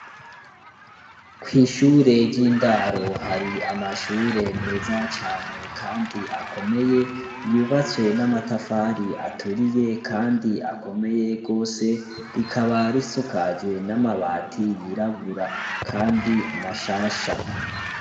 Kw'ishure ry'indaro hari amashure meza cane kandi akomeye, yubatswe n'amatafari aturiye kandi akomeye rwose, rikaba risakajwe n'amabati yirabura kandi mashasha.